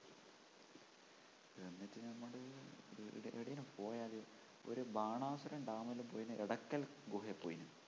ഈയിടെ എവിടേലും പോയാല് ഒരു ബാണാസുര dam ലുംപോയെന് എടക്കൽ ഗുഹേ പോയീന്